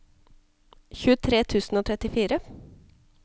tjuetre tusen og trettifire